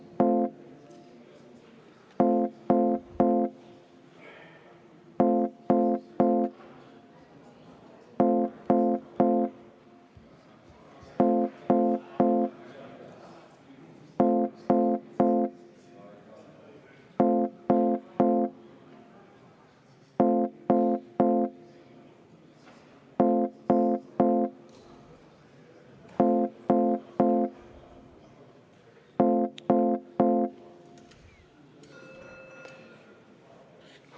V a h e a e g